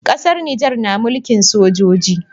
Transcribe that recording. Ƙasar nijar na mulkin sojoji